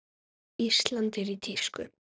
Ísland er í tísku.